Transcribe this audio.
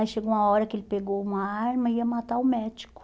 Aí chegou uma hora que ele pegou uma arma e ia matar o médico.